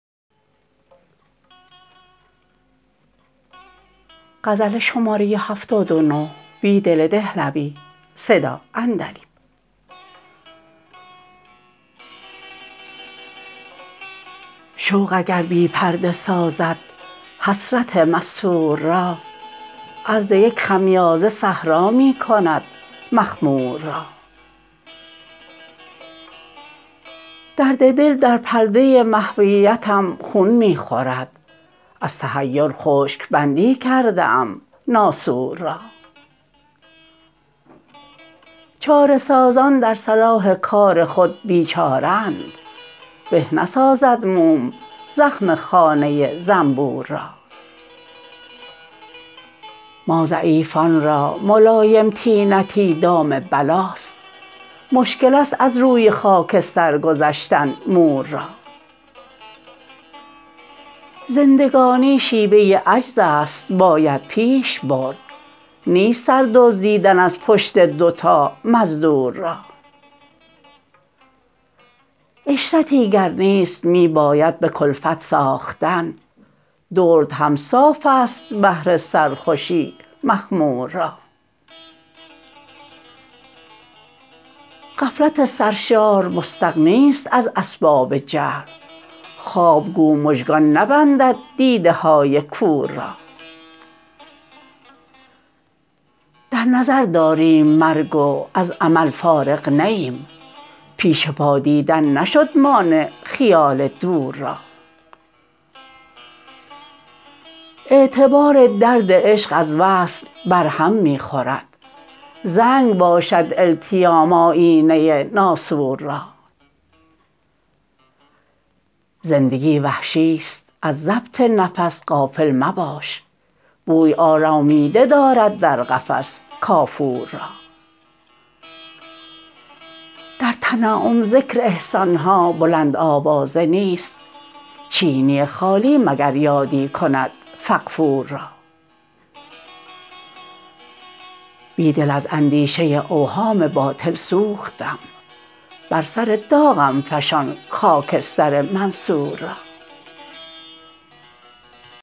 شوق اگر بی پرده سازد حسرت مستور را عرض یک خمیازه صحرا می کند مخمور را درد دل در پرده محویتم خون می خورد از تحیر خشک بندی کرده ام ناسور را چاره سازان در صلاح کار خود بی چاره اند به نسازد موم زخم خانه زنبور را ما ضعیفان را ملایم طینتی دام بلاست مشکل است از روی خاکستر گذشتن مور را زندگانی شیوه عجز است باید پیش برد نیست سر دزدیدن از پشت دوتا مزدور را عشرتی گر نیست می باید به کلفت ساختن درد هم صاف است بهر سرخوشی مخمور را غفلت سرشار مستغنی ست از اسباب جهل خواب گو مژگان نبندد دیده های کور را در نظر داریم مرگ و از امل فارغ نه ایم پیش پا دیدن نشد مانع خیال دور را اعتبار درد عشق از وصل برهم می خورد زنگ باشد التیام آیینه ناسور را زندگی وحشی ست از ضبط نفس غافل مباش بوی آرامیده دارد در قفس کافور را در تنعم ذکر احسان ها بلند آوازه نیست چینی خالی مگر یادی کند فغفور را بیدل از اندیشه اوهام باطل سوختم بر سر داغم فشان خاکستر منصور را